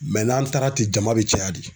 n'an taara ten jama bɛ caya de.